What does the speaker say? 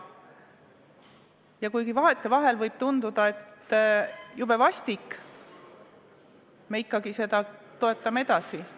Ja kuigi vahetevahel võib tunduda, et see on jube vastik, me ikkagi toetame seda edasi.